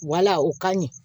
Wala o ka ɲi